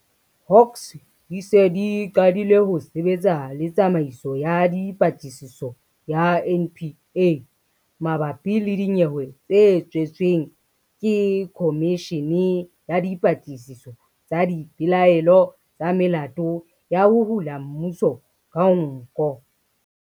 Hawks di se di qadile ho sebetsa le Tsamaiso ya Dipatlisiso ya NPA mabapi le dinyewe tse tswetsweng ke khomishene ya dipatlisiso tsa dipelaelo tsa melato ya ho hula mmuso ka nko.